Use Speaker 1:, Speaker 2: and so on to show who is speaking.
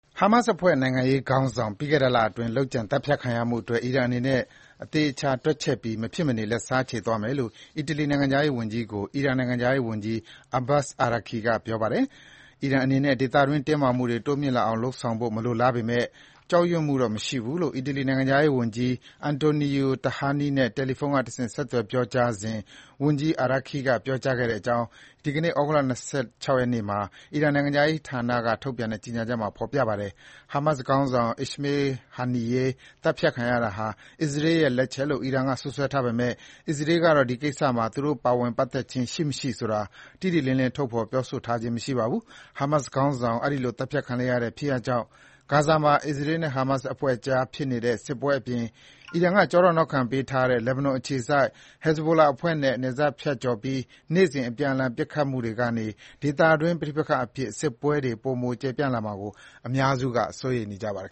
Speaker 1: ဟာမတ်စ်အဖွဲ့ နိုင်ငံရေးခေါင်းဆောင် ပြီးခဲ့တဲ့လအတွင်း လုပ်ကြံ သတ်ဖြတ်ခံရမှုအတွက် အီရန်အနေနဲ့ သေချာ တွက်ချက်ပြီး မဖြစ်မနေ လက်စားချေသွားမယ်လို့ အီတလီ နိုင်ငံခြားရေးဝန်ကြီးကို အီရန်နိုင်ငံခြားရေးဝန်ကြီး Abbas Araqchi က ပြောပါတယ်။ အီရန်အနေနဲ့ ဒေသတွင်း တင်းမာမှုတွေ တိုးမြင့်လာအောင် လုပ်ဆောင်ဖို့ မလိုလားပေမယ့် ကြောက်ရွံ့မှုတော့ မရှိဘူးလို့ အီတလီ နိုင်ငံခြားရေးဝန်ကြီး Antonio Tajani နဲ့ တယ်လီဖုန်းကတဆင့် ဆက်သွယ် ပြောကြားစဉ် ဝန်ကြီး Araqchi က ပြောကြားခဲ့ကြောင်း ဒီကနေ့ ဩဂုတ်လ ၂၆ ရက်နေ့မှာ အီရန်နိုင်ငံခြားရေးဌာနက ထုတ်ပြန်တဲ့ ကြေညာချက်မှာ ဖော်ပြထားပါတယ်။ ဟာမတ်စ်ခေါင်းဆောင် Ismail Haniyeh သတ်ဖြတ်ခံရတာဟာ အစ္စရေးရဲ့လက်ချက်လို့ အီရန်က စွပ်စွဲထားပေမယ့် အစ္စရေးကတော့ ဒီကိစ္စမှာ သူတို့ ပါဝင် ပတ်သက်ခြင်း ရှိ မရှိဆိုတာ တိတိလင်းလင်း ထုတ်ဖော် ပြောဆိုထားခြင်း မရှိပါဘူး။ ဟာမတ်စ်ခေါင်းဆောင် အဲဒီလို သတ်ဖြတ်ခံလိုက်ရတဲ့ ဖြစ်ရပ်ကြောင့် ဂါဇာမှာ အစ္စရေးနဲ့ ဟာမတ်စ်အဖွဲ့အကြားဖြစ်နေတဲ့ စစ်ပွဲအပြင် အီရန်က ကျောထောက်နောက်ခံပေးထားတဲ့ ဘက်ဘနွန်အခြေစိုက် Hezbollah အဖွဲ့နဲ့ နယ်စပ်ဖြတ်ကျော်ပြီး နေ့စဉ် အပြန်အလှန် ပစ်ခတ်နေမှုတွေကနေ ဒေသတွင်း ပဋိပက္ခအဖြစ် စစ်ပွဲပိုမို ကျယ်ပြန့်လာမှာကို အများ
Speaker 2: စုက စိုးရိမ်နေကြပါတယ်